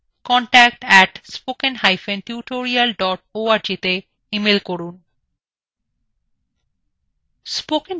অধিক বিবরণের জন্য contact @spokentutorial org তে ইমেল করুন